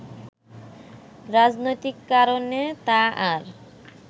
রাজনৈতিক কারণে তা আর